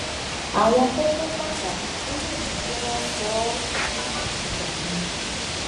àwọn kókó pàtàkì tó lè mú kí wọn sọ ọ dìdàkudà ni